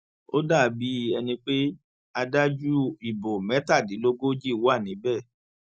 ó dà bíi ẹni pé adájú ìbò mẹtàdínlógójì wà níbẹ